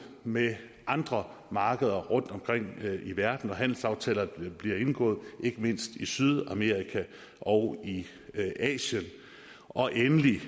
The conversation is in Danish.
med andre markeder rundtomkring i verden og handelsaftaler der bliver indgået ikke mindst i sydamerika og i asien og endelig